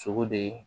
Sogo de